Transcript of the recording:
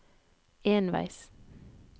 enveis